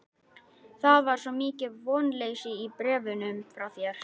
Það var svo mikið vonleysi í bréfunum frá þér.